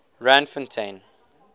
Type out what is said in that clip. randfontein